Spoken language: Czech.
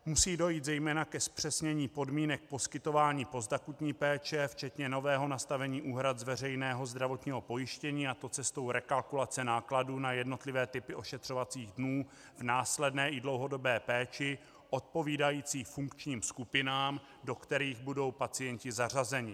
Musí dojít zejména ke zpřesnění podmínek poskytování postakutní péče včetně nového nastavení úhrad z veřejného zdravotního pojištění, a to cestou rekalkulace nákladů na jednotlivé typy ošetřovacích dnů v následné i dlouhodobé péči odpovídající funkčním skupinám, do kterých budou pacienti zařazeni.